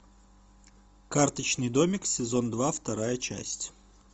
карточный домик сезон два вторая часть